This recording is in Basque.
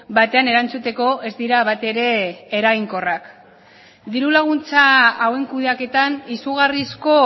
batean erantzuteko ez dira batere eraginkorrak diru laguntza hauen kudeaketan izugarrizko